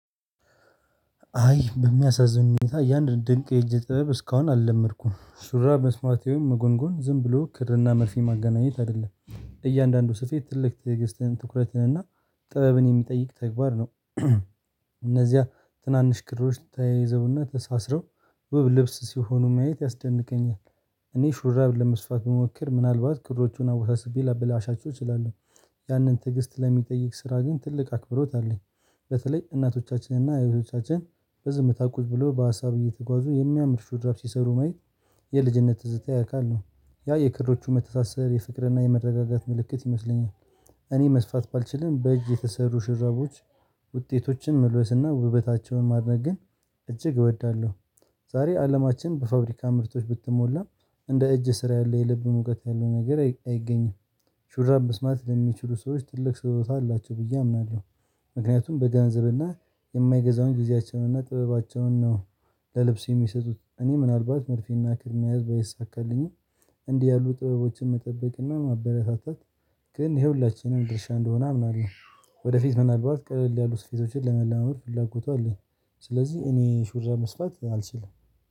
አይ በሚያሳዝን ሁኔታ ያን ድንቅ የእጅ ጥበብ እስካሁን አልለመድኩም። ሱራብ መስፋት ይሁን መጎንጎን ዝም ብሎ ክርና መርፌ ማገናኘት አይደለም። እያንዳንዱ ስፌት ትልቅ ትዕግስትን ትኩረትን እና ጥበብን የሚጠይቅ ተግባር ነው። እነዚያ ትናንሽ ክሮች ተያይዘውና ተሳስረው ውብ ልብስ ሲሆኑ ማየት ያስደንቀኛል። እኔ ሹራብ ለመስፋት መሞከር ምናልባት ክሮቹን አወሳስቤ ላበላሻቸው እችላለሁ። ያንን ትዕግስት ለሚጠይቅ ስራ ግን ትልቅ አክብሮት አለኝ። በተለይ እናቶቻችንና እህቶቻችን በዝምታ ቁጭ ብሎ በሀሳብ እየተጓዙ የሚያምር ሹድራፍ ሲሰሩ ማየት የልጅነት ትዝታ ያካል ነው። ያ የክሮቹ መተሳሰር፣ የፍቅርና የመረጋጋት ምልክት ይመስለኛል። እኔ መስፋት ባልችልም በእጅ የተሰሩ ሽረቦች ውጤቶችን መልበስና ውበታቸውን ማድነቅ ግን እጅግ እወዳለሁ። ዛሬ አለማችን በፋብሪካ ምርቶች ብትሞላም እንደ እጅ ስራ ያለ የልብ ሙቀት ያለው ነገር አይገኝም። ሹራብ መስፋት ለሚችሉ ሰዎች ትልቅ ስጦታ አላቸው ብዬ አምናለሁ። ምክንያቱም በገንዘብና የማይገዛውን ጊዜያቸውንና እና ጥበባቸውን ነው። ለልብስ የሚሰጡት እኔ ምናልባት መልፊና ክር መያዝ ባይሳካልኝም እንዲህ ያሉ ጥበቦችን መጠበቅና ማበረታታት ግን ይሄ ሁላችንም ድርሻ እንደሆነ አምናለሁ። ወደፊት ምናልባት ቀለል ያሉት ስፈቶችን ለመለማመድ ፍላጎቱ አለኝ፣ ስለዚህ እኔ ሹራ መስራት አልችልም።